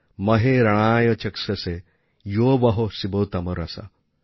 মহে রণেয় চক্ষসে ইয়ো বহঃ শিবতমো রসঃ